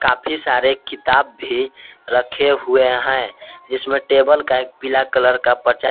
काफी सारे किताब भी रखे हुए हैं जिसमें टेबल का एक पीला कलर का प्रचार--